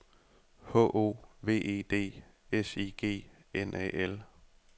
H O V E D S I G N A L